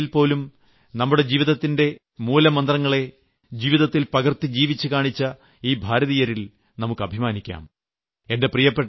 ദക്ഷിണാഫ്രിക്കയിൽപോലും നമ്മുടെ ജീവിതത്തിന്റെ മൂലമന്ത്രങ്ങളെ ജീവിതത്തിൽ പകർത്തി ജീവിച്ച് കാണിച്ച ഈ ഭാരതീയരിൽ നമുക്ക് അഭിമാനിക്കാം